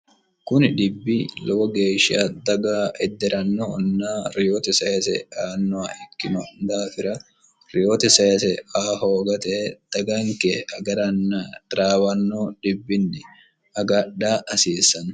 kuni dhibbi lowo geeshsha daga edde'rannohonna reyoote sayise aannoha ikkino daafira reyoote sayise a hoogate daganke agarann taraawanno dhibbinni agadha hasiissanno